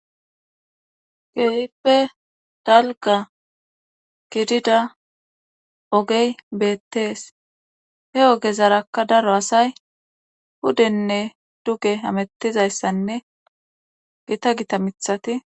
geyippe dalga gidida ogey beettees he oge zarakka daro asay hudenne duge amettizayssanne gita gita mithati